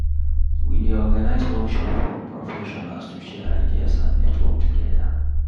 We dey organize workshop for professionals to share ideas and network together.